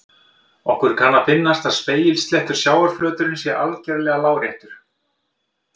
Okkur kann að finnast að spegilsléttur sjávarflöturinn sé algjörlega láréttur.